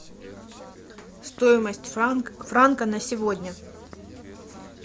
стоимость франка на сегодня